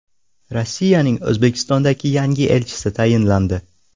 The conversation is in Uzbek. Rossiyaning O‘zbekistondagi yangi elchisi tayinlandi.